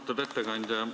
Austatud ettekandja!